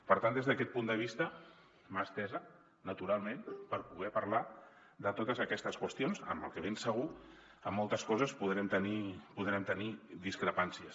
per tant des d’aquest punt de vista mà estesa naturalment per poder parlar de totes aquestes qüestions que ben segur en moltes coses podrem tenir discrepàncies